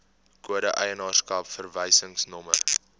kode eienaarskap verwysingsnommer